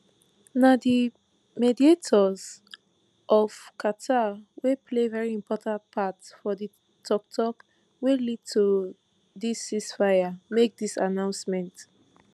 na di mediators for qatar wey play very important part for di tok tok wey lead to dis ceasefire make dis announcement